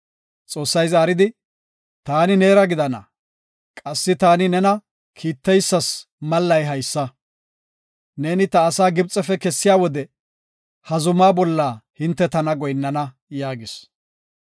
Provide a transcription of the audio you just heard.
Xoossay zaaridi, “Taani neera gidana. Qassi taani nena kiittidaysas mallay haysa; neeni ta asaa Gibxefe kessiya wode ha zuma bolla hinte tana goyinnana” yaagis.